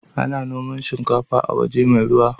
Ana noman shikafa a waje mai ruwa.